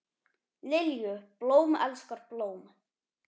Lilju, blóm elskar blóm.